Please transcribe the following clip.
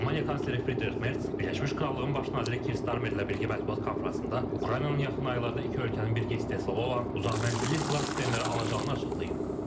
Almaniya kansleri Fridrix Qerts Birləşmiş Krallığın Baş naziri Kis Starmerlə birgə mətbuat konfransında Ukraynanın yaxın aylarda iki ölkənin birgə istehsalı olan uzaq mənzilli silah sistemləri alacağını açıqlayıb.